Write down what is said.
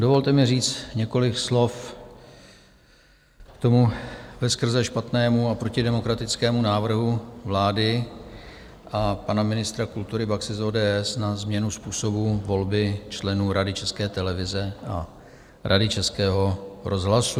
Dovolte mi říct několik slov k tomu veskrze špatnému a protidemokratickému návrhu vlády a pana ministra kultury Baxy z ODS na změnu způsobu volby členů Rady České televize a Rady Českého rozhlasu.